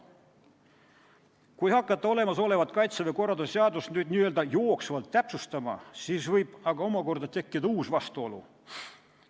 Kui hakata olemasolevat Kaitseväe korralduse seadust n-ö jooksvalt täpsustama, siis võib omakorda tekkida uus vastuolu.